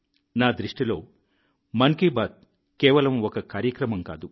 నా దృష్టిలో మన్ కీ బాత్ కేవలం ఒక కార్యక్రమం కాదు